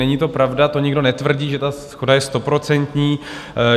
Není to pravda, to nikdo netvrdí, že ta shoda je stoprocentní.